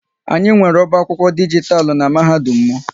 Anyị nwere oba akwụkwọ dijitalụ n'mahadum m